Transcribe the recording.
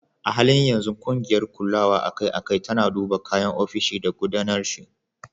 A halin yanzu, ƙungiyar kulawa akai-akai tana duba kayan ofishi da gudanar shi.